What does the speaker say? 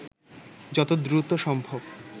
যত দ্রুত সম্ভব